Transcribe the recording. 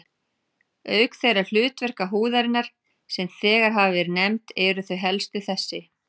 Auk þeirra hlutverka húðarinnar, sem þegar hafa verið nefnd, eru þau helstu þessi